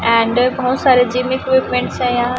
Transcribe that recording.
and बहोत सारे gym equipments है यहां--